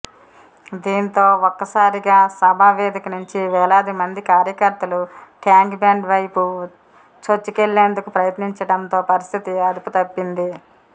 దీంతో ఒక్కసారిగా సభావేదిక నుంచి వేలాది మంది కార్యకర్తలు ట్యాంక్బండ్ వైపు చొచ్చుకెళ్లేందుకు ప్రయత్నించడంతో పరిస్థితి అదుపుతప్పింది